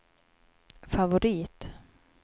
favorit